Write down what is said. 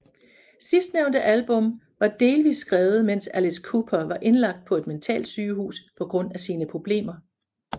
Sidsnævnte album var delvist skrevet mens Alice Cooper var indlagt på et mentalsygehus på grund af sine problemer